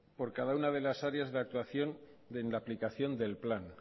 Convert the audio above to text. por cada una de las áreas de actuación en la aplicación del plan